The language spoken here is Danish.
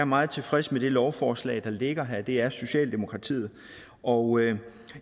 meget tilfreds med det lovforslag der ligger her det er socialdemokratiet og